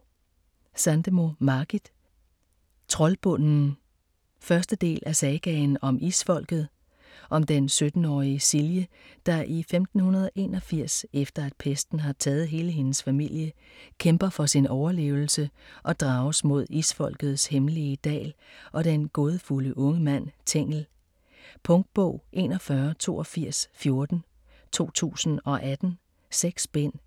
Sandemo, Margit: Troldbunden 1. del af Sagaen om Isfolket. Om den 17-årige Silje, der i 1581, efter at pesten har taget hele hendes familie, kæmper for sin overlevelse og drages mod Isfolkets hemmelige dal og den gådefulde unge mand Tengel. Punktbog 418214 2018. 6 bind.